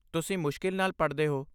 ਤੁਸੀਂ ਮੁਸ਼ਕਿਲ ਨਾਲ ਪੜ੍ਹਦੇ ਹੋ।